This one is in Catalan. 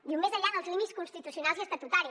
diu més enllà dels límits constitucionals i estatutaris